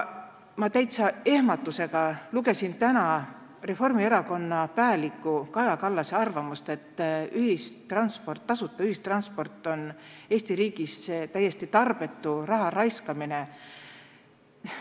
Ma täiesti ehmatusega lugesin täna Reformierakonna pääliku Kaja Kallase arvamust, et tasuta ühistransport on Eesti riigis täiesti tarbetu raha raiskamine.